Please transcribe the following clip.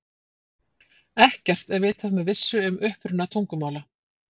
Ekkert er vitað með vissu um uppruna tungumála.